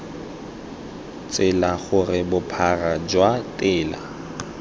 tsela gore bophara jwa tela